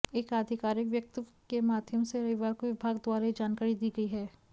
एक आधिकारिक वक्तव्य के माध्यम से रविवार को विभाग द्वारा ये जानकारी दी गई है